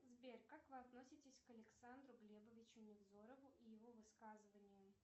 сбер как вы относитесь к александру глебовичу невзорову и его высказываниям